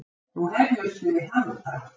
Nú hefjumst við handa!